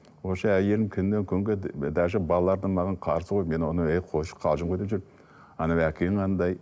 онша әйелім күннен күнге даже балаларды маған қарсы қойып мен оны ей қойшы қалжың ғой деп жүрдім анау әкең андай